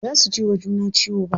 Baza su jiwa juna ciwo ba.